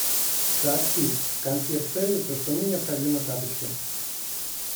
сообщи консьерж сервису что мне необходимы тапочки